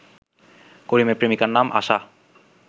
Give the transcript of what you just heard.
করিমের প্রেমিকার নাম আশা